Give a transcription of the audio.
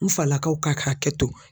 N falakaw ka kɛ to.